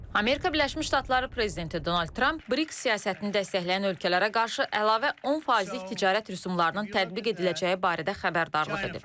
Amerika Birləşmiş Ştatları prezidenti Donald Tramp Brix siyasətini dəstəkləyən ölkələrə qarşı əlavə 10 faizlik ticarət rüsumlarının tətbiq ediləcəyi barədə xəbərdarlıq edib.